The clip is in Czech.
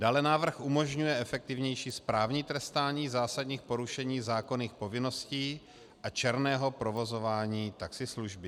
Dále návrh umožňuje efektivnější správní trestání zásadních porušení zákonných povinností a černého provozování taxislužby.